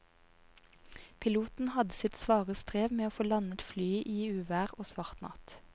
Piloten hadde sitt svare strev med å få landet flyet i uvær og svart natt.